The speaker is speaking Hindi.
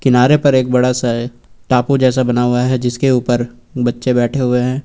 किनारे पर एक बड़ा सा टापू जैसा बना हुआ है जिसके ऊपर बच्चे बैठे हुए हैं।